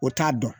O t'a dɔn